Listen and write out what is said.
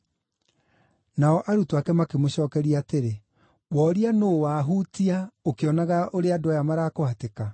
Nao arutwo ake makĩmũcookeria atĩrĩ, “Woria ‘Nũũ wahutia?’ ũkĩonaga ũrĩa andũ aya marakũhatĩka?”